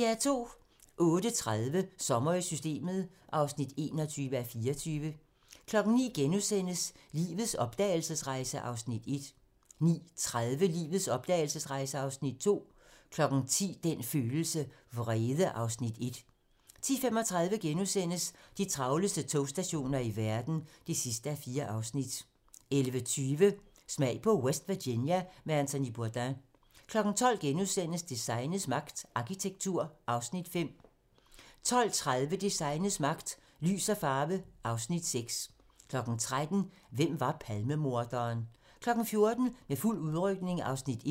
08:30: Sommer i Systemet (21:24) 09:00: Lives opdragelsesrejse (Afs. 1)* 09:30: Lives opdragelsesrejse (Afs. 2) 10:00: Den følelse: Vrede (Afs. 1) 10:35: De travleste togstationer i verden (4:4)* 11:20: Smag på West Virginia med Anthony Bourdain 12:00: Designets magt - Arkitektur (Afs. 5)* 12:30: Designets magt - Lys og farve (Afs. 6) 13:00: Hvem var Palmemorderen? 14:00: Med fuld udrykning (Afs. 1)